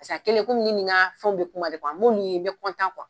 a bɛ komi ne ni n ka fɛnw bɛ kuma de n y'olu ye n bɛ